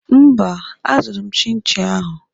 Mba, azụrụ m chinchi ahụ.